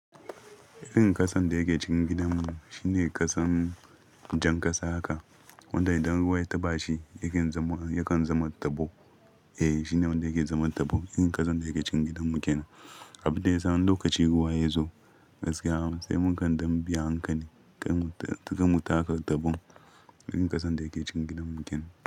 Irin ƙasan da yake cin gidanmu shine ƙasan jan ƙasa haka wanda idan ruwa ya taɓa shi yakan zama tabo. Eh shine wanda yake zama tabo, irin ƙasan da yake cikin gidanmu kenan. Abin da yasa wani lokaci in ruwa ya zo, gaskiya sai mun kan dan bi a hankali, kar mu taka taɓon irin ƙasan da yake cikin gidanmu kenan.